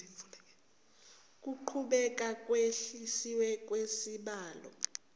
kuqhubeke ukwehliswa kwesibalo